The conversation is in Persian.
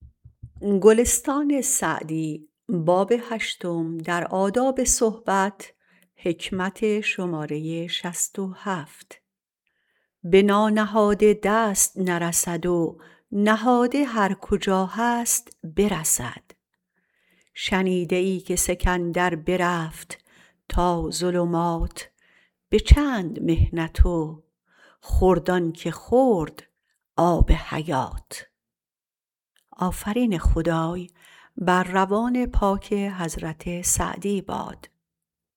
به نانهاده دست نرسد و نهاده هر کجا هست برسد شنیده ای که سکندر برفت تا ظلمات به چند محنت و خورد آن که خورد آب حیات